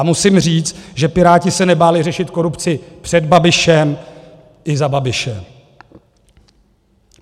A musím říct, že Piráti se nebáli řešit korupci před Babišem i za Babiše.